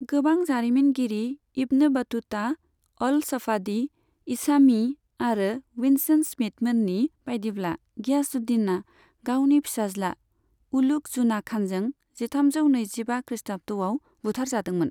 गोबां जारिमिनगिरि Ibn Battuta, al Safadi, Isami आरो विन्सेन्ट स्मिथमोननि बायदिब्ला, गियासुद्दीनआ गावनि फिसाज्ला उलुग जुना खानजों जिथामजौ नैजिबा खृष्टाब्दआव बुथारजादोंमोन।